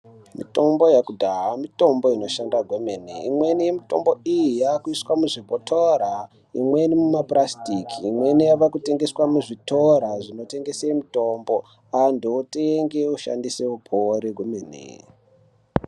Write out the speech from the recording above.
Mutombo yekudhaya mitombo inoshanda kwemene imweni yemitombo iyi yakuiswa muzvibhotora imweni muma purasitiki imweni yavakutengeswa muzvitora zvinotengese mutombo antu otenge oshandise opore kwemene.